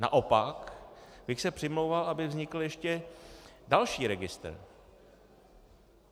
Naopak bych se přimlouval, aby vznikl ještě další registr.